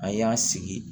A y'a sigi